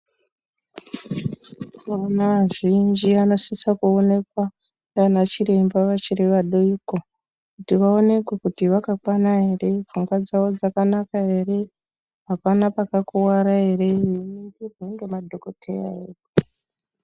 Vana vazhinji vanosisa kuonekwa ndiana chiremba vachiri vadoko kuti vaonekwe kuti vakakwana ere, pfungwa dzavo dzakanaka ere, apana pakakuwara ere veiwongororwa nemadhokodheya edu.